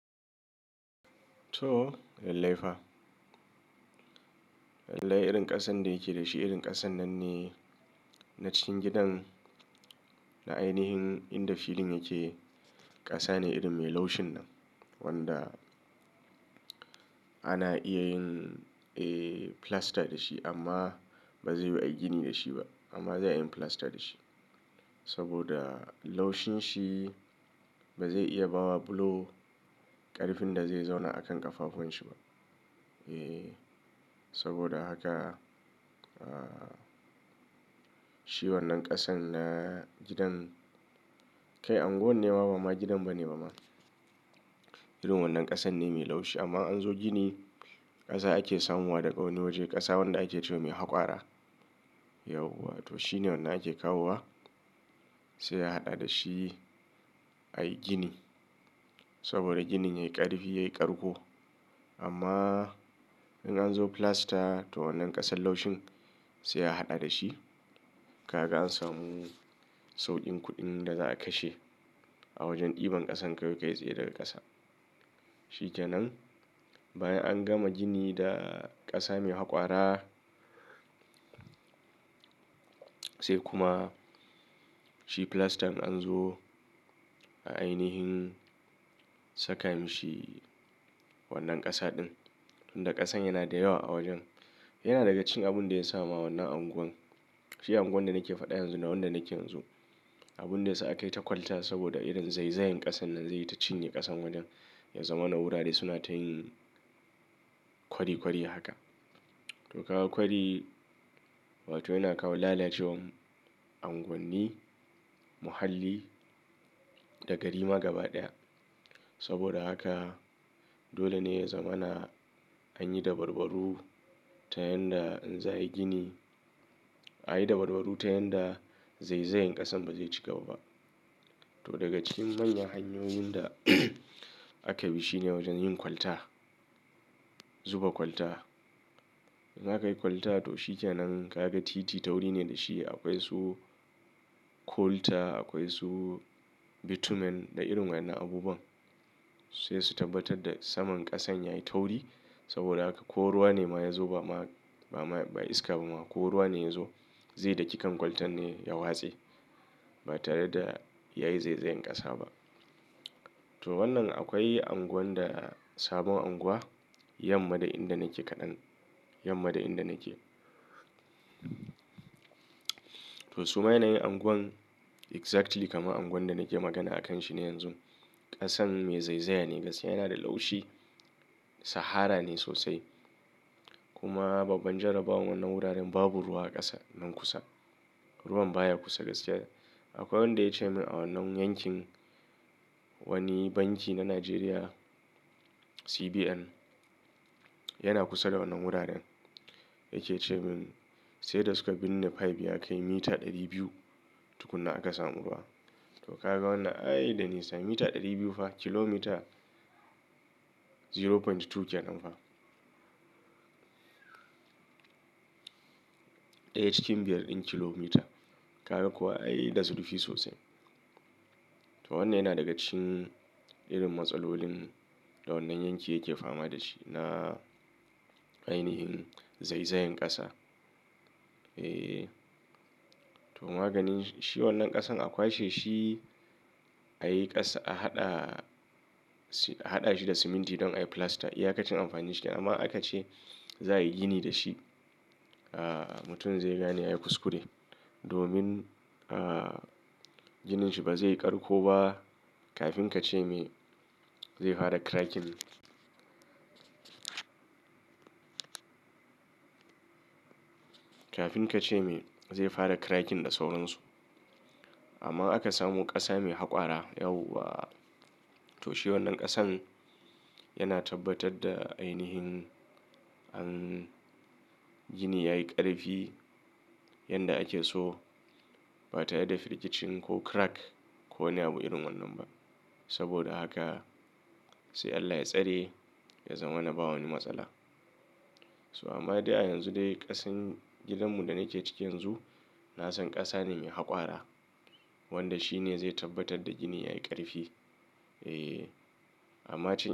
To, lallai fa. Lallai irin ƙasan da yake da shi, irin ƙasan nan ne na cikin gidan, na ainihin inda filin yake. Ƙasa ne irin mai laushin nan, wanda ana iya yin, eh, plaster da shi amma ba zai yiwu a yi gini da shi ba. Amma za a yi plaster da shi. Saboda laushin shi ba zai iya bawa bulo ƙarfin da zai zauna akan ƙafafun shi ba. Eh, saboda haka, ah, shi wannan ƙasan na gidan, kai unguwan ne ma ba ma gidan ba ne ba ma. Irin wannan ƙasan ne mai laushi. Amma in an zo gini, ƙasa ake samowa daga wani waje. Ƙasa wanda ake ce wa mai haƙwara. Yauwa, to shi ne wanda ake kawowa, sai a haɗa da shi, a yi gini. Saboda ginin yayi ƙarfi, yayi ƙarko. Amma idan an zo plaster, to wannan ƙasan laushin sai a haɗa da shi. Kaga an samu sauƙin kuɗin da za a kashe a wajen ɗiban ƙasan kawai kai tsaye daga ƙasa. Shi kenan, bayan an gama gini da ƙasa mai haƙwara, sai kuma shi plaster in an zo a ainihin saka mishi wannan ƙasa ɗin. Tunda ƙasan yana da yawa a wajen. Yana daga cikin abin da ya sa ma wannan unguwan, shi unguwar da nake faɗa yanzu nan wanda nake yanzu, abun da ya sa aka yi ta kwalta saboda irin zaizayin ƙasan nan zai yi ta cinye ƙasan wajen, ya zama na wurare suna ta yin kwari kwari haka. To, ka ga kwari, wato yana kawo lalacewar unguwanni, muhalli da gari ma gaba ɗaya. Saboda haka, dole ne ya zama na an yi dabarbaru ta yadda in za a yi gini, a yi dabarbaru ta yadda zaizayan ƙasan ba zai cigaba ba. To, daga cikin manyan hanyoyin da aka bi shi ne wajen yin kwalta. Zuba kwalta. Idan aka yi kwalta to shi kenan, ka ga titi tauri ne da shi. Akwai su coalter, akwai su bitumen da irin waɗannan abubuwan. Sai su tabbatar da saman ƙasan yayi tauri. Saboda haka ko ruwa ne ma ya zo ba ma, ba iska ba ma, ko ruwa ne ya zo, zai daki kan kwaltan ne ya watse. Ba tare da ya yi zaizayan ƙasa ba. To wannan akwai unguwan da sabon unguwa, yamma da inda nake kaɗan, yamma da inda nake. To su ma yanayin unguwan exactly kamar unguwan da nake magana a kan shi ne yanzu. Ƙasan mai zaizaya ne, gaskiya yana da laushi. Sahara ne sosai. Kuma babban jarabawar wannan wuraren babu ruwa a ƙasan nan kusa. Ruwan baya kusa gaskiya. Akwai wanda ya ce min a wannan yankin, wani banki na Najeriya, CBN, yana kusa da wannan wuraren. Ya ke ce min sai da suka binne pipe ya kai mita ɗari biyu tukunna aka samu ruwa. To ka ga wannan, ai da nisa mita ɗari biyu fa, kilomita 0.2 kenan fa. Daya cikin biyar din kilomita. Kaga kuwa ai da zurfi sosai. To wannan yana daga cikin irin matsalolin da wannan yanki yake fama da shi na ainihin zaizayan ƙasa. Eh, to maganin shi wannan ƙasan a kwashe shi, a yi ƙasa, a haɗa shi da siminti don a yi plaster. IYa kacin amfani shi. Amma in aka ce za a yi gini da shi, ah, mutum zai gane ya yi kuskure. Domin, ah, ginin shi ba zai yi ƙarko ba, kafin ka ce me zai fara cracking. Kafin ka ce me zai fara cracking da sauran su. Amma aka samu ƙasa mai haƙwara, yauwa. To shi wannan ƙasan yana tabbatar da ainihin an gini yayi ƙarfi yanda ake so ba tare da firgicin ko crack ko niyabu irin wannan ba. Saboda haka sai Allah ya tsare, ya zama na ba wani matsala. So amma dai a yanzu dai ƙasan gidanmu da nake ciki yanzu, na san ƙasa ne mai haƙwara. Wanda shi ne zai tabbatar da gini yayi ƙarfi. Eh, amma ce.